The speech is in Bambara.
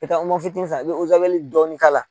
I bi taa fitini san i bi dɔɔnin k'a la